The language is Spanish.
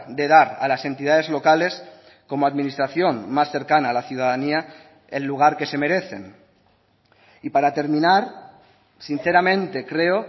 de dar a las entidades locales como administración más cercana a la ciudadanía el lugar que se merecen y para terminar sinceramente creo